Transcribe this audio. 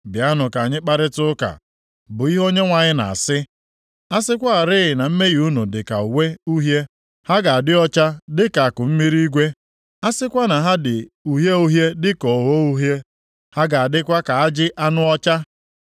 “Bịanụ ka anyị kparịtaa ụka,” bụ ihe Onyenwe anyị na-asị. “A sịkwarị na mmehie unu dị ka uwe uhie, ha ga-adị ọcha dịka akụmmiri igwe, + 1:18 Ihe ndị ọcha na-akpọ snoo. a sịkwa na ha dị uhie uhie dịka ogho uhie, ha ga-adịkwa ka ajị anụ ọcha.